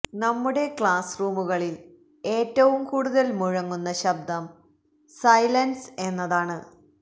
നമ്മുടെ ക്ലാസ് റൂമുകളില് ഏറ്റവും കൂടുതല് മുഴങ്ങുന്ന ശബ്ദം സൈലന്സ് എന്നതാണ്